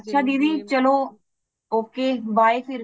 ਅੱਛਾ ਦੀਦੀ ਚਲੋ okay bye ਫਿਰ